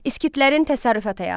Skitlərin təsərrüfat həyatı.